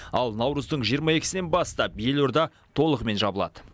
ал наурыздың жиырма екісінен бастап елорда толығымен жабылады